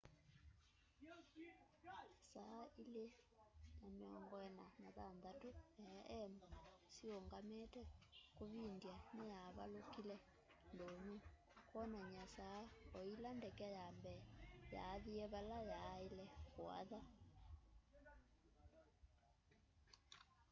saa 8:46 a.m siungamite kuvindya niyavalukile ndunyu kwonany'a saa o ila ndeke ya mbee yaathie vala yaaile kuatha